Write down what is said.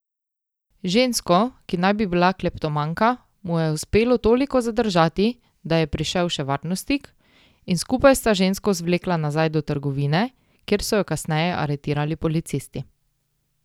Žensko, ki naj bi bila kleptomanka, mu je uspelo toliko zadržati, da je prišel še varnostnik, in skupaj sta žensko zvlekla nazaj do trgovine, kjer so jo kasneje aretirali policisti.